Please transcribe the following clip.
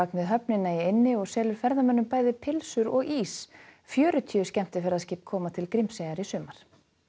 við höfnina í eynni og selur ferðamönnum bæði pylsur og ís fjörutíu skemmtiferðaskip koma til Grímseyjar í sumar